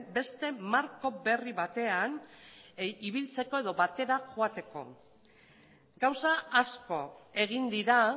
beste marko berri batean ibiltzeko edo batera joateko gauza asko egin dira